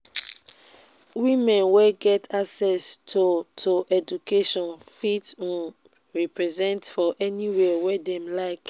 women wey get access to to education fit um represent for anywhere wey dem like um